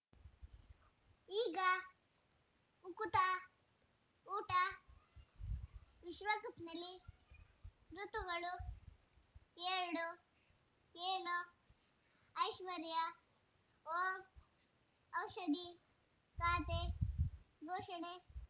ಈಗ ಉಕುತ ಊಟ ವಿಶ್ವಕಪ್‌ನಲ್ಲಿ ಋತುಗಳು ಎರಡು ಏನು ಐಶ್ವರ್ಯಾ ಓಂ ಔಷಧಿ ಖಾತೆ ಘೋಷಣೆ